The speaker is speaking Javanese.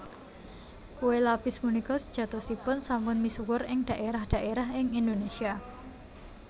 Kué lapis punika sejatosipun sampun misuwur ing dhaérah dhaérah ing Indonésia